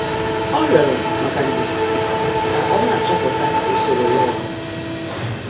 Ọ rịorọ maka ndidi ka ọ na-achọpụta usoro ya ozo.